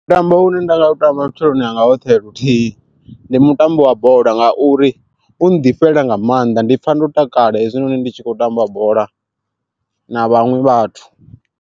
Mutambo une nda nga u tamba vhutshiloni hanga hoṱhe luthihi, ndi mutambo wa bola nga uri u ḓifhela nga maanḓa ndi pfha ndo takala hezwi noni ndi tshi khou tamba bola na vhaṅwe vhathu.